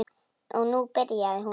Og nú byrjaði hún.